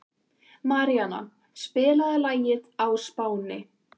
Maríanna, spilaðu lagið „Á Spáni“.